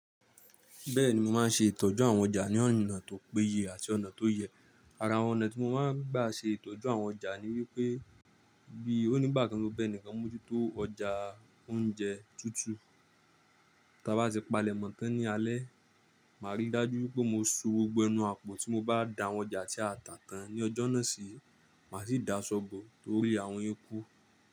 Bẹ́ẹ̀ni mo máa ń ṣe ìtọ́jú àwọn ọjà ní ọ̀nà tó péye àti ọ̀nà tó yẹ. Ara ọ̀nà tí mo máa ń gbà ṣe ìtọ́jú àwọn ọjà ni wípé bí onígbàkan ti mo ba ẹnìkan mójútó ọjà oúnjẹ tútù, tí a bá ti palẹ̀mọ́ tán ní alẹ́, màá rí dájú wípé mo so gbogbo ẹnu àpò tí mo bá da wọn já ti àtà tàn ní ọjọ́ náà sì máa sì dá aṣọ́ bọ̀ tó rí àwọn eku.